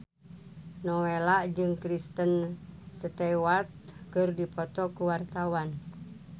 Nowela jeung Kristen Stewart keur dipoto ku wartawan